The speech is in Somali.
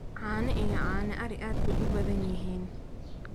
Caano iyo caano ari aad bay u badan yihiin.